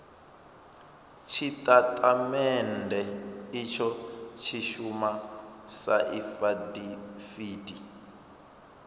tshitatamennde itsho tshi shuma sa afidaviti